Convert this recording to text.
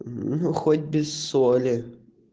ну хоть без соли